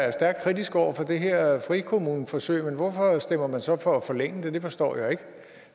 er stærkt kritisk over for det her frikommuneforsøg men hvorfor stemmer man så for at forlænge det det forstår jeg ikke